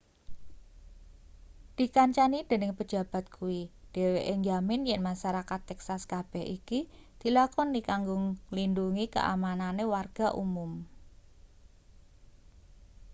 dikancani dening pejabat kuwi dheweke njamin yen masarakat texas kabeh iki dilakoni kanggo nglindhungi kaamanane warga umum